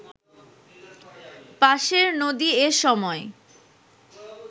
পাশের নদী এ সময়